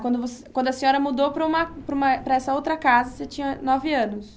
Quando quando a senhora mudou para uma para uma, para essa outra casa, você tinha nove anos?